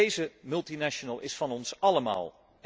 Deze multinational is van ons allemaal!